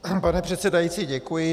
Pane předsedající, děkuji.